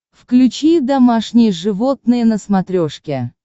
включи домашние животные на смотрешке